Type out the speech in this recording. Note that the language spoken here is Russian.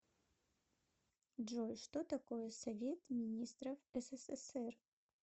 джой что такое совет министров ссср